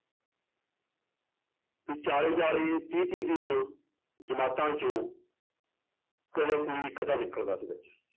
ਚਾਲੀ ਚਾਲੀ ਤੀਹ ਤੀਹ ਜਮਾਤਾਂ ਚੋਂ ਕਦੇ ਕੋਈ ਇੱਕ ਅੱਧਾ ਨਿਕਲਦਾ ਸੀ ਬੱਚਾ